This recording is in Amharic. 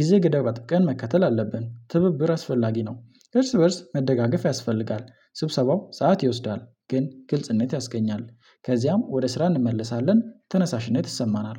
ጊዜ ገደብ አጥብቀን መከተል አለብን። ትብብር አስፈላጊ ነው እርስ በእርስ መደጋገፍ ያስፈልጋል። ስብሰባው ሰዓት ይወስዳል ግን ግልጽነት ያስገኛል ከዚያም ወደ ስራ እንመለሳለን። ተነሳሽነት ይሰማናል